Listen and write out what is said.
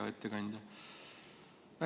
Hea ettekandja!